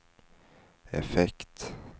effekt